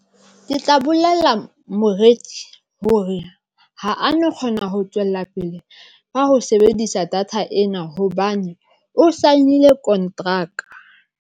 Ke tla bolella moreki hore ha a no kgona ho tswela pele ka ho sebedisa data ena hobane o sign-ile kontraka.